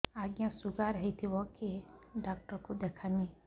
ଆଜ୍ଞା ଶୁଗାର ହେଇଥିବ କେ ଡାକ୍ତର କୁ ଦେଖାମି